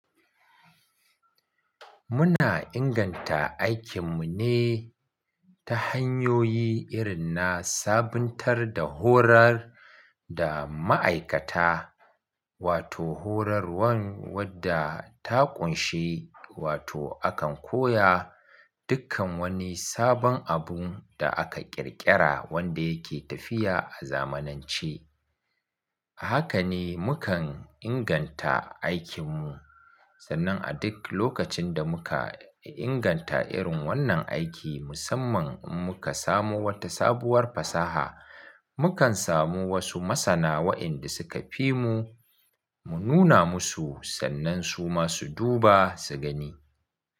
Muna inganta aikin mu ne ta hanyoyi irin na sabuntar da horar da ma'aikata, wato horarwan wadda ta ƙunshi wato akan koya dukkan wani sabon abun da aka ƙirƙira wanda yake tafiya a zamanance. Haka ne mukan inganta aikin mu, sannan a duk lokacin da muka inganta irin wannan aiki musamman in muka samu wata sabuwar fasaha, mukan samu wasu masana wa'inda suka fi mu mu nuna musu sannan suma su duba su gani.